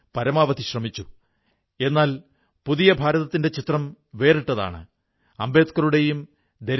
ഈ ഡിജിറ്റൽ പ്ലാറ്റ്ഫോമിൽ ആധുനിക കാർഷി ഉപകരണങ്ങളും വാടകയ്ക്ക് ലഭിക്കുന്നു